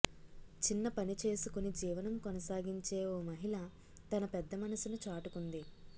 చిన్న పనిచేసుకుని జీవనం కొనసాగించే ఓ మహిళ తన పెద్ద మనుసును చాటుకుంది